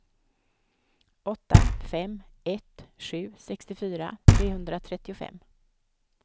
åtta fem ett sju sextiofyra trehundratrettiofem